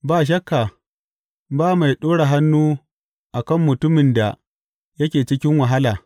Ba shakka ba mai ɗora hannu a kan mutumin da yake cikin wahala.